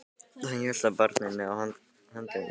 Hann hélt á barninu á handleggnum.